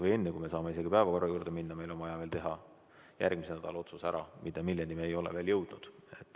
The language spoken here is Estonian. Või enne, kui me saame isegi päevakorra juurde minna, on meil vaja veel teha järgmise nädala kohta otsus, milleni me ei ole veel jõudnud.